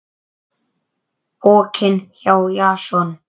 Pokinn hjá Jason